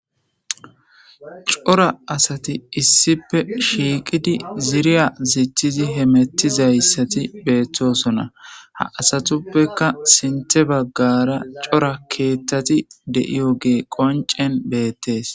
cora asati issipe shiqidi ziriya zitizi hemetizayisati betosona ha asatupeka sinte bagara cora keeththati deiyoge qoncen betes.